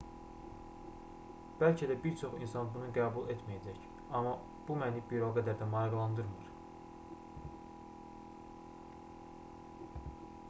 bəlkə də bir çox insan bunu qəbul etməyəcək amma bu məni bir o qədər də maraqlandırmır